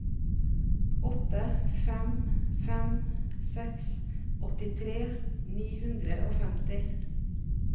åtte fem fem seks åttitre ni hundre og femti